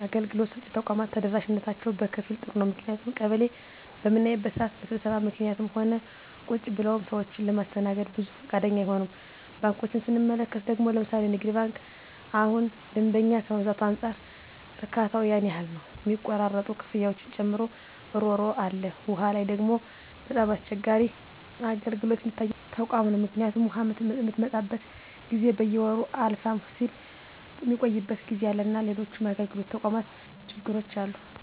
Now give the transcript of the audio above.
አገልግሎት ሰጭ ተቋማት ተደራሽነታቸው በከፊል ጥሩ ነው ምክንያቱም ቀበሌ በምናይበት ስዓት በስብሰባ ምክኒትም ሆነ ቁጭ ብለውም ሰዎችን ለማስተናገድ ብዙ ፈቃደኛ አይሆኑም። ባንኮችን ስንመለከት ደግሞ ለምሣሌ ንግድ ባንክ እሁን ደንበኛ ከመብዛቱ አንፃር እርካታው ያን ያህል ነው ሚቆራረጡ ክፍያዎችን ጨምሮ እሮሮ አለ። ዉሃ ላይ ደግሞ በጣም አስቸጋሪ አገልግሎት ሚታይበት ተቋም ነው ምክኒቱም ውሃ ምትመጣበት ጊዜ በየወሩ አለፍም ስል ሚቆይበት ጊዜ አለና ሎሎችም የአገልግሎት ተቋማት ችግሮች አሉ።